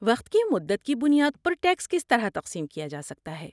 وقت کی مدت کی بنیاد پر ٹیکس کس طرح تقسیم کیا جا سکتا ہے؟